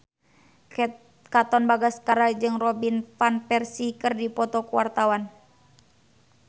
Katon Bagaskara jeung Robin Van Persie keur dipoto ku wartawan